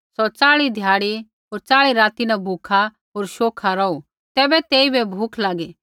सौ चाल़ी ध्याड़ी होर चाल़ी राती न भूखा होर शोखा रौहू तैबै तेइबै भूख लागी